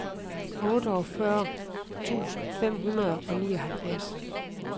otteogfyrre tusind fem hundrede og nioghalvtreds